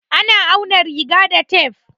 A na auna riga da tef.